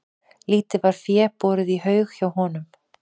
Lítið var fé borið í haug hjá honum.